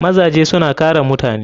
Mazaje suna kare mutane.